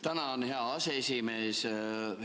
Tänan, hea aseesimees!